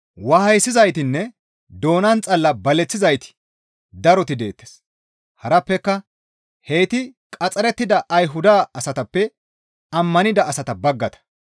Waayisizaytinne doonan xalla baleththizayti daroti deettes; harappeka heyti qaxxarettida Ayhuda asatappe ammanida asata baggata.